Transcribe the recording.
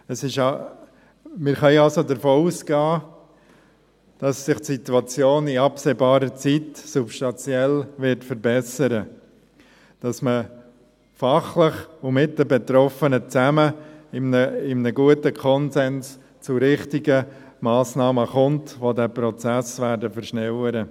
Wir können also davon ausgehen, dass sich die Situation in absehbarer Zeit substanziell verbessern wird, dass man fachlich und zusammen mit den Betroffenen, in einem guten Konsens, zu richtigen Massnahmen kommt, welche den Prozess beschleunigen werden.